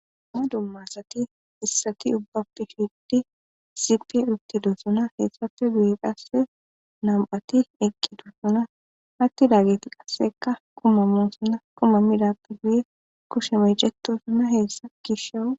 Dumma dummasati issati ubbappe issippe uttidosona. heessappe guye qasse nam7ati eqqiduussona. hatti daageti qasseka kuma mosana kuma midappe guye kushemeyjetosuna heessa gishewu..